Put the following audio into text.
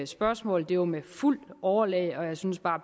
spørgsmål det var med fuldt overlæg og jeg synes bare